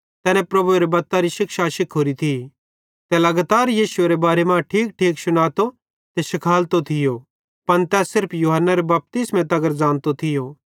तैनी प्रभुएरे बत्तरी शिक्षा शिखोरी थी ते लगातार यीशुएरे बारे मां ठीकठीक शुनातो ते शिखालतो थियो पन तै सिर्फ यूहन्नारे बपतिस्मे तगर ज़ानतो थियो